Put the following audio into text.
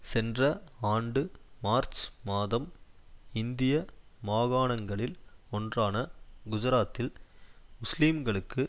சென்ற ஆண்டு மார்ச் மாதம் இந்திய மாகாணங்களில் ஒன்றான குஜராத்தில்முஸ்லீம்களுக்கு